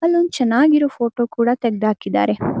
ಅಲ್ಲೊಂದು ಚೆನ್ನಾಗಿರೋ ಫೋಟೋ ಕೂಡ ತೆಗದು ಹಾಕಿದ್ದಾರೆ.